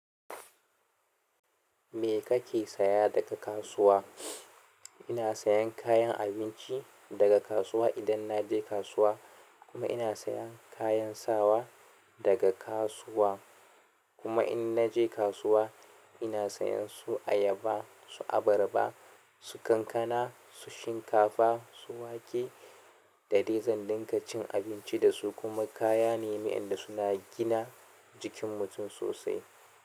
Me kake saya daga kasuwa? Ina sayan kayan abinci daga kasuwa idan naje kasuwa, kuma ina siyan kayan sawa daga kasuwa. Kuma in naje kasuwa, ina sayan su ayaba, su abarba, su kankana, su shinkafa, su wake da dai zan dinga cin abinci da su. Kuma kaya ne wayanda suna gina jikin mutum sosai.